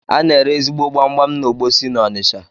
Ana ere ezigbo gbamgbam na Ogbosi n’Onisha